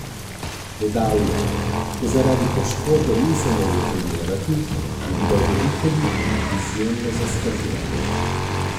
Dodal je: "Ko zaradi poškodbe nisem mogel trenirati, je bilo veliko ljudi izjemno zaskrbljenih.